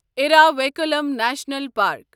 Eravikulam national park